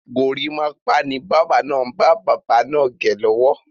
Gorímápá ni báábà náà ń bá bàbá naa gẹ lọ́wọ́.